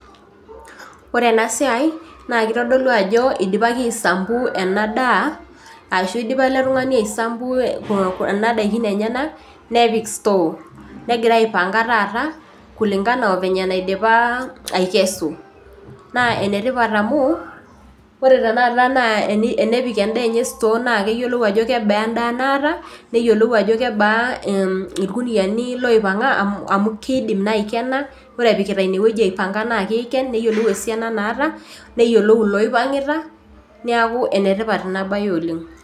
Ore enasia na kitadolu ajo idipaki aisambu ena daa ashu idipa ele tung'ani aisambua enadaa enyenak nepik store negira aipanga taata kulingana o vyenye naidipa aikesu na enetipat amu ore tanepik endaa enye store na keyiolou ajo kebaa endaa naata, neyiolou ajo kebaa irkuniani oipanga amu kidim nai aikena. Ore epikita inewueji na kidim aikena neyiolou loioangita neaku enetipat inabae oleng'.